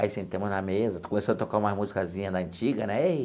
Aí sentamos na mesa, começou a tocar uma musicazinha da antiga, né?